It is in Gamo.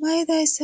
mayidayssa